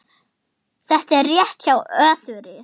Þetta er rétt hjá Össuri.